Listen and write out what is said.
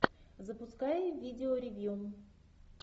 запускай видеоревью